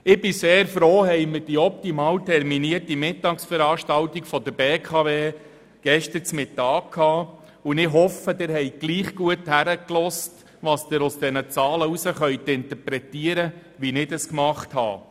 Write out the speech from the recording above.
Ich bin sehr froh, haben wir die optimal terminierte Mittagsveranstaltung der BKW am gestrigen Mittag gehabt, und ich hoffe, Sie haben dennoch gut hingehört, wie sich die Zahlen interpretieren lassen, so wie ich dies getan habe.